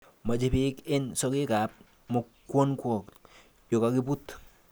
Moche bek any sokekab mukunkok yon kokebut.